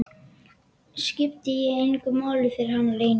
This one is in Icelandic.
Skipti ég engu máli fyrir hann lengur?